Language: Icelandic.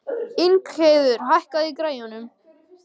Ingheiður, hækkaðu í græjunum.